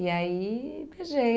E aí, beijei.